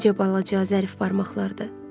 Necə balaca, zərif barmaqlardır!